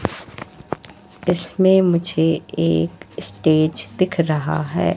इसमें मुझे एक स्टेज दिख रहा है।